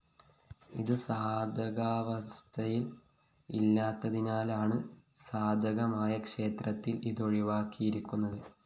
ഇത് സാധകാവസ്ഥയില്‍ ഇല്ലാത്തതിനാലാണ് സാധകമായ ക്ഷേത്രത്തില്‍ ഇതൊഴിവാക്കിയിരിക്കുന്നത്